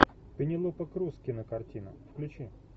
пенелопа крус кинокартина включи